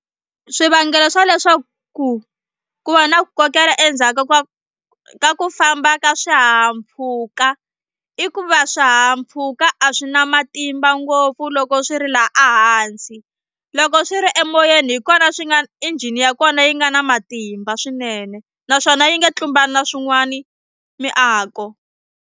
Swivangelo swa leswaku ku va na ku kokela endzhaku ka ka ku famba ka swihahampfhuka i ku va swihahampfhuka a swi na matimba ngopfu loko swi ri la a hansi loko swi ri emoyeni hi kona swi nga engine ya kona yi nga na matimba swinene naswona yi nga tlumbani na swin'wani miako.